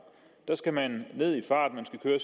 skal man ned i fart